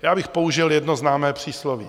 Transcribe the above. Já bych použil jedno známé přísloví.